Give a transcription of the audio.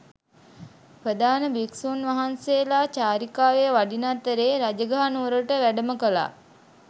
ප්‍රධාන භික්ෂූන් වහන්සේලා චාරිකාවේ වඩින අතරේ රජගහ නුවරට වැඩම කළා